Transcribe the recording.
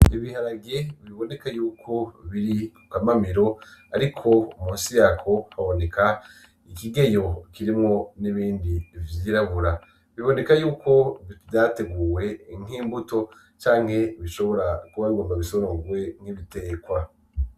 Ibiharage biboneka yuko biri kukamamiro ariko musi yako haboneka ikigeyo kirimwo n'ibindi vyirabura biboneka yuko vyateguwe nk'imbuto canke bishobora kuba bigomba bisorogwe nk'ibitekwa.